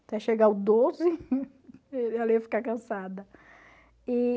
Até chegar o doze, ela ia ficar cansada. E...